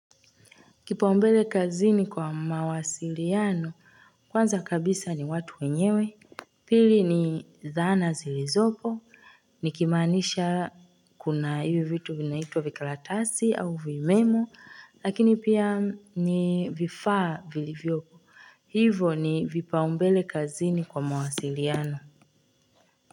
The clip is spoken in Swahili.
Kipaumbele kazini kwa mawasiliano, kwanza kabisa ni watu wenyewe, pili ni dhana zilizopo, nikimaanisha kuna hivyo vitu vinaitwa vikalatasi au vimemo, lakini pia ni vifaa vilivyoko. Hivo ni vipaumbele kazini kwa mawasiliano.